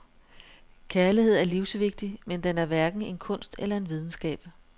Kærlighed er livsvigtig, men den er hverken en kunst eller en videnskab.